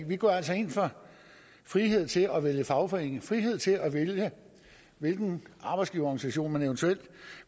vi går altså ind for frihed til at vælge fagforening frihed til at vælge hvilken arbejdsgiverorganisation man eventuelt